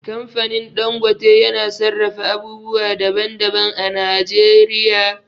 Kamfanin Dangote yana sarrafa abubuwa daban daban a Najeriya